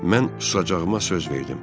Mən susacağıma söz verdim.